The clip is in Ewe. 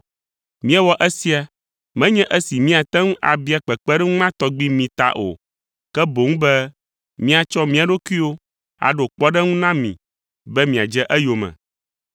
Míewɔ esia menye esi míate ŋu abia kpekpeɖeŋu ma tɔgbi mi ta o, ke boŋ be míatsɔ mía ɖokuiwo aɖo kpɔɖeŋu na mi be miadze eyome.